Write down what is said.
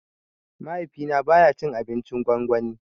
Mahaifi na baya cin abincin gwangwani